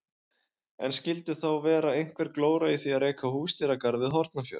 En skildi þá vera einhver glóra í því að reka húsdýragarð við Hornafjörð?